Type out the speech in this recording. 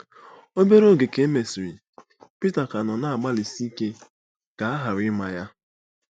Obere oge ka e mesịrị, Pita ka nọ na-agbalịsi ike ka a ghara ịma ya.